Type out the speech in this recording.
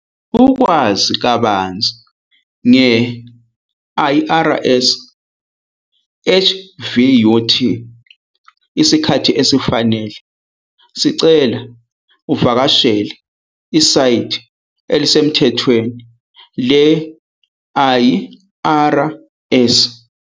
Ukwazi kabanzi nge-IRS HVUT isikhathi esifanele, sicela uvakashele isayithi elisemthethweni le-IRS.